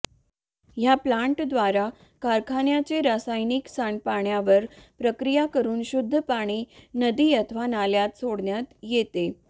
या प्लांट द्वारे कारखान्यांचे रासायनिक सांडपाण्यावर प्रक्रिया करून शुद्ध पाणी नदी अथवा नाल्यात सोडण्यात येते